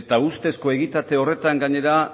eta ustezko egitate horretan gainera